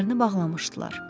Gözlərini bağlamışdılar.